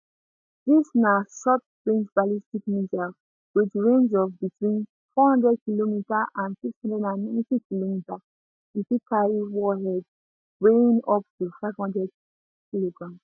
dis na shortrange ballistic missile wit range of between 400km and 690km e fit carry warheads weighing up to 500kg